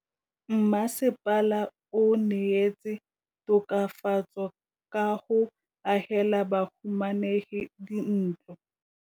Mmasepala o neetse tokafatsô ka go agela bahumanegi dintlo.